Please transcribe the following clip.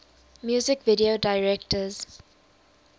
music video directors